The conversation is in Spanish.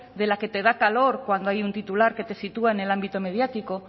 de la que te da calor cuando hay un titular que te sitúa en el ámbito mediático